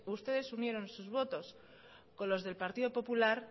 ustedes unieron sus votos con los del partido popular